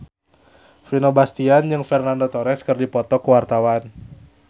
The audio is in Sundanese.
Vino Bastian jeung Fernando Torres keur dipoto ku wartawan